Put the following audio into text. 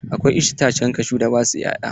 Akwai itacen kashu da ba sua 'ya'ya.